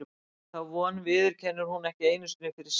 En þá von viðurkennir hún ekki einu sinni fyrir sjálfri sér.